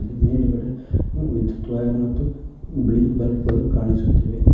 ಮೇಲ್ಗಡೆ ವಿದ್ಯುತ್ ವೈರ್ ಮತ್ತು ಬಿಳಿ ಬಲ್ಬ್ ಗಳು ಕಾಣಿಸುತ್ತಿವೆ.